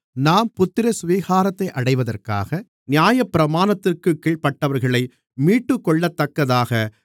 நாம் புத்திரசுவிகாரத்தை அடைவதற்காக நியாயப்பிரமாணத்திற்குக் கீழ்ப்பட்டவர்களை மீட்டுக்கொள்ளத்தக்கதாக